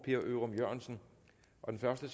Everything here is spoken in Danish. det